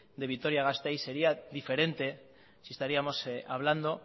de vitoria gasteiz sería diferente si estaríamos hablando